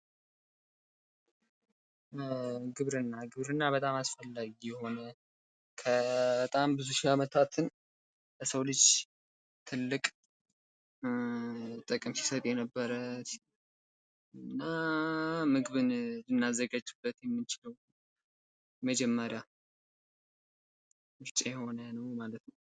ግብርና፤ ግብርና በጣም አስፈላጊ የሆነ ከበጣም ብዙ ሺህ አመታትን ለሰው ልጅ በጣም ትልቅ ጥቅም ሲሰጥ የነበረ እና ምግብን ልናዘጋጅበት የምንችለው መጀመሪያ ምርጫ የሆነ ማለት ነው።